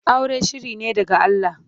Aure shiri ne daga Allah.